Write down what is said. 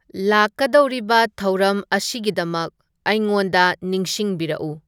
ꯂꯥꯛꯀꯗꯧꯔꯤꯕ ꯊꯧꯔꯝ ꯑꯁꯤꯒꯤꯗꯃꯛ ꯑꯩꯉꯣꯟꯗ ꯅꯤꯡꯁꯤꯡꯕꯤꯔꯛꯎ